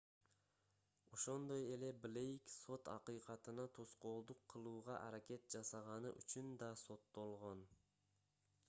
ошондой эле блейк сот акыйкатына тоскоолдук кылууга аракет жасаганы үчүн да соттолгон